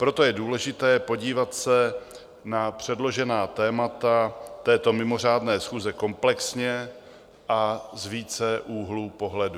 Proto je důležité podívat se na předložená témata této mimořádné schůze komplexně a z více úhlů pohledu.